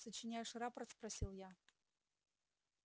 сочиняешь рапорт спросил я